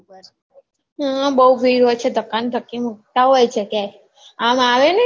હા બૌ ભીડ હોય છે ધકા અને ધક્કી મુકતા હોય છે ક્યાય આમ આવે ને